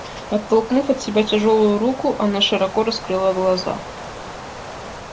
оттолкнув от себя тяжёлую руку она широко раскрыла глаза